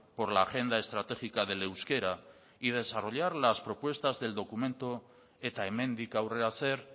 por la agenda estratégica del euskera y desarrollar las propuestas del documento eta hemendik aurrera zer